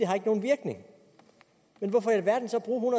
har nogen virkning men hvorfor i alverden så bruge